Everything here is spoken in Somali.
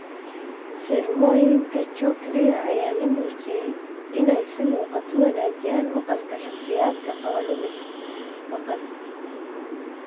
Xirmooyinka Cochlear-ka ayaa la muujiyay inay si muuqata u wanaajiyaan maqalka shakhsiyaadka qaba lumis maqal.